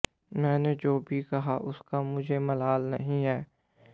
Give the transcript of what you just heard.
मैंने जो भी कहा उसका मुझे मलाल नहीं है